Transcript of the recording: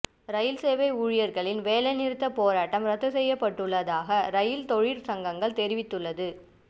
ரயில் சேவை ஊழியர்களின் வேலைநிறுத்த போராட்டம் இரத்துச் செய்யப்பட்டுள்ளதாக ரயில் தொழிற் சங்கங்கள் தெரி